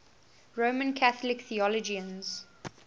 roman catholic theologians